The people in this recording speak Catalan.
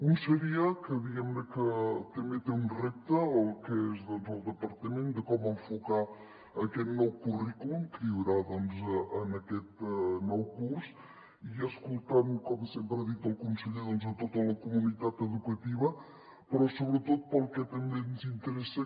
un seria que diguem ne també té un repte el que és el departament de com enfocar aquest nou currículum que hi haurà en aquest nou curs i escoltant com sempre ha dit el conseller a tota la comunitat educativa però sobretot pel que també ens interessa